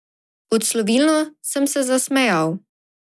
Odslovilno sem se zasmejal.